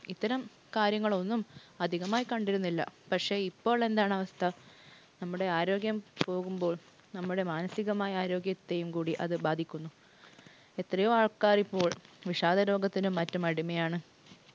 ഇത്തരം കാര്യങ്ങളൊന്നും അധികമായി കണ്ടിരുന്നില്ല. പക്ഷേ ഇപ്പോൾ എന്താണ് അവസ്ഥ? നമ്മുടെ ആരോഗ്യം പോകുമ്പോൾ നമ്മുടെ മാനസികമായ ആരോഗ്യത്തെയും കൂടി അത് ബാധിക്കുന്നു. എത്രയോ ആൾക്കാരിപ്പോൾ വിഷാദ രോഗത്തിനും മറ്റും അടിമയാണ്.